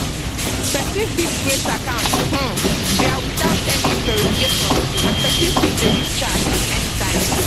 pesin fit create account um dia witout any verification and pesin fit delete chats anytime